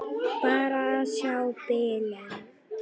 Bara að sjá bílinn.